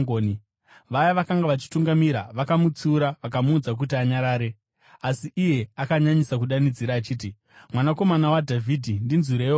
Vaya vakanga vachitungamira vakamutsiura vakamuudza kuti anyarare, asi iye akanyanyisa kudanidzira achiti, “Mwanakomana waDhavhidhi, ndinzwireiwo ngoni!”